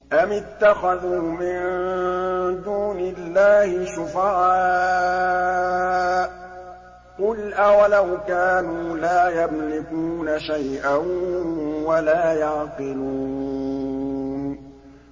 أَمِ اتَّخَذُوا مِن دُونِ اللَّهِ شُفَعَاءَ ۚ قُلْ أَوَلَوْ كَانُوا لَا يَمْلِكُونَ شَيْئًا وَلَا يَعْقِلُونَ